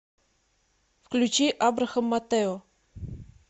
включи абрахам матео